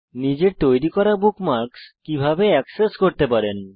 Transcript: নিজের তৈরী করা বুকমার্কস আপনি কিভাবে অ্যাক্সেস করতে পারেন